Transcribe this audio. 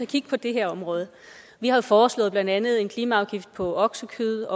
kigge på det her område vi har foreslået blandt andet en klimaafgift på oksekød